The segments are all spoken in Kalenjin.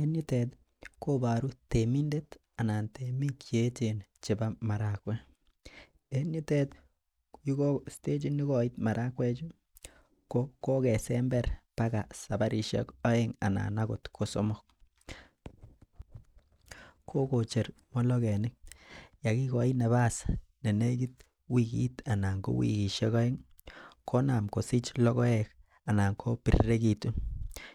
en yuteet koboruu temindet anan temiik cheechen chebo marakweek, en yuteet ko stachiit negoiit marakweek chu ko kogesember bagaa sabarishek oeng anan agoot kosomok, kogocheer mologenik yegigoii nabass nenegiit wigiik anan ko wigishek oeng iih konaam kosich logoek anan kobiregituun,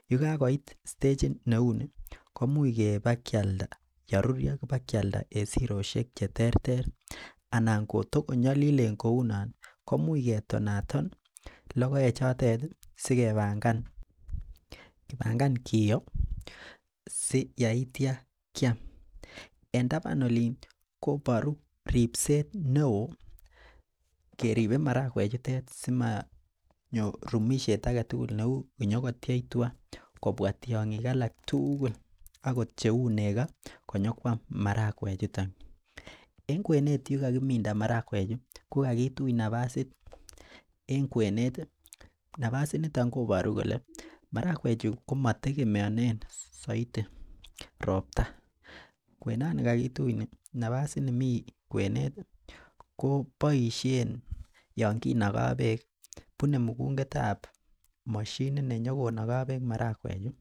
yegagoiit stachiit neuu nii komuuch kebakyalda yeruryoo bakyalda en siroisheek cheterter anan kotogonyolilen kouu noon komuch ketonaton logoek choteet iih sigebangan kiyoo si eityo kyaam, en tabaan oliin koboruu ribseet neoo keribee marakweek chuton simonyoo rumisheet agetugul neuu nyagotyeech tugaa kobwaa tyongiik alak tuugul, agot cheuu nego konyakwaam marakweek chuton, en kweneet yegagiminda marakweek chu kogagituch nafasiit en kweeneet iih, nafasiit niton koboru kole marakweek chu komategemeonen soiti ropta, kwenoon nigagituch nii nafasiit nimii kweneet iih ko boishen yoon kenogoo beek bune mugungeet ab moshiniit nenyogonogoo beek marakweek iih.